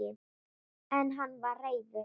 En hann var reiður!